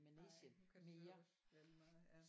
Ej nu kan det så også være ligemeget ja